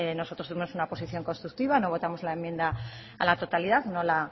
nosotros tuvimos una posición constructiva no votamos la enmienda a la totalidad no la